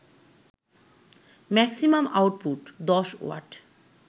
maximum output ১০ watt